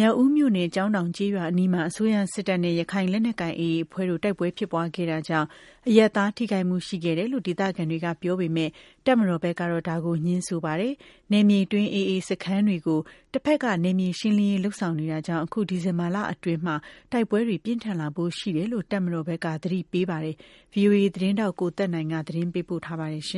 မြောက်ဦးမြို့နယ်၊ ကျောင်းတောင်ကျေးရွာအနီးမှာ အစိုးရစစ်တပ်နဲ့ ရခိုင်လက်နက်ကိုင် AA အဖွဲ့တို့ တိုက်ပွဲဖြစ်ပွားခဲ့တာကြောင့် အရပ်သားထိခိုက်မှုရှိခဲ့တယ်လို့ ဒေသခံတွေက ပြောပေမယ့်၊ တပ်မတော် ဘက်ကတော့ ငြင်းပါတယ်။ နယ်မြေအတွင်း AA စခန်းတွေကို တပ်ဖက်က နယ်မြေရှင်းလင်းရေး လုပ်ဆောင်နေတာကြောင့် အခု ဒီဇင်ဘာလအတွင်း တိုက်ပွဲတွေ ပြင်းထန်လာဖို့ရှိတယ်လို့ တပ်မတော်ဘက်က သတိပေးပါတယ်။ ဗွီအိုအေ သတင်းထောက် ကိုသက်နိုင်က သတင်းပေးပို့ထားပါတယ်။